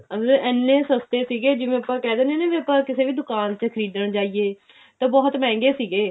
ਮਤਲਬ ਇੰਨੇ ਸਸਤੇ ਸੀਗੇ ਜਿਵੇਂ ਆਪਾਂ ਕਿਹ ਦਿੰਦੇ ਆ ਨਾ ਵੀ ਆਪਾਂ ਕਿਸੀ ਵੀ ਦੁਕਾਨ ਚ ਖਰੀਦਣ ਜਾਈਏ ਤਾਂ ਬਹੁਤ ਮਹਿੰਗੇ ਸੀਗੇ